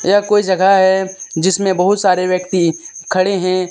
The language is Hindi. कोई जगह है जिसमें बहुत सारे व्यक्ति खड़े हैं।